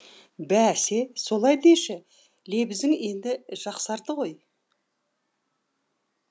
бәсе солай деші лебізің енді жақсарды ғой